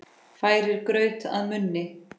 Færir graut að munni.